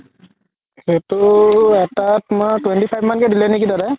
সেইটো এটাত তুমাৰ twenty five কে দিলে নেকি দাদাই